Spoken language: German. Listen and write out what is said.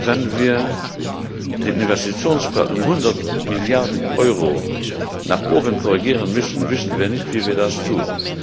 Wenn wir den Investitionsplan um 100 Milliarden Euro nach oben korrigieren müssen, wissen wir nicht, wie wir das tun.